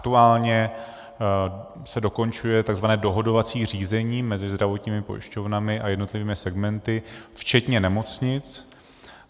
Aktuálně se dokončuje tzv. dohodovací řízení mezi zdravotními pojišťovnami a jednotlivými segmenty, včetně nemocnic.